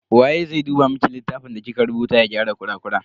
Waye zai duba miki littafin da kika rubuta ya gyara kurakuran?